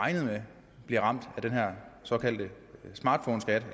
regnet med bliver ramt af den her såkaldte smartphoneskat